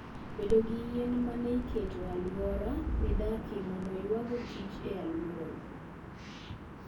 Bed gi yien ma ne iketo e alwora midakie mondo oywago kich e alworau.